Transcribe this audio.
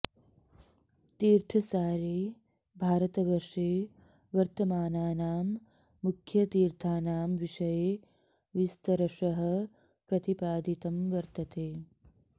तीर्थसारे भारतवर्षे वर्तमानानां मुख्यतीर्थानां विषये विस्तरशः प्रतिपादितं वर्तते